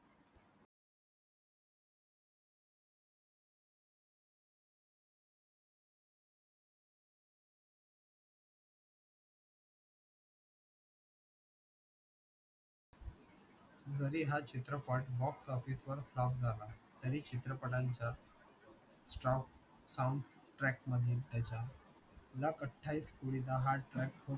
जरी हा चित्रपट box office वर flop झाला तरी चित्रपटांच्या soundtrack मधील त्याचा luck अठ्ठावीस कुडी दा हा track खूप